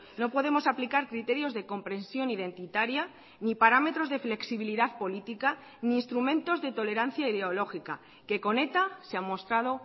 no podemos aplicar criterios de comprensión identitaria ni parámetros de flexibilidad política ni instrumentos de tolerancia ideológica que con eta se ha mostrado